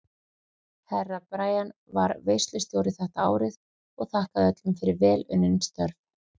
Herra Brian var veislustjóri þetta árið og þakkaði öllum fyrir vel unnin störf.